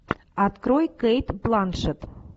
открой кейт бланшетт